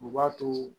U b'a to